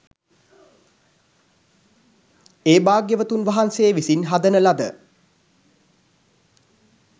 ඒ භාග්‍යවතුන් වහන්සේ විසින් හදන ලද